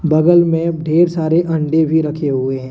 बगल मे ढेर सारे अंडे भी रखे हुए हैं।